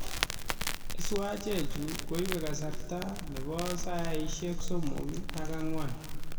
Eswachek chuu koibee kasarta nebaa saiashek somok ak agwan